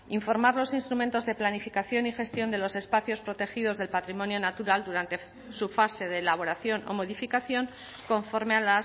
informar los instrumentos de planificación y gestión de los espacios protegidos del patrimonio natural durante su fase de elaboración o modificación conforme a